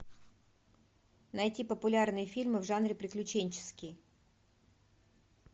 найти популярные фильмы в жанре приключенческие